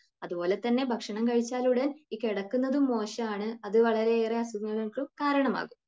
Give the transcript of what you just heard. അതുപോലെ തന്നെ ഭക്ഷണം കഴിച്ചാലുടൻ കിടക്കുന്നതും മോശമാണ്. അതുവളരെയേറെ അസുഖങ്ങൾക്കും കാരണമാകും.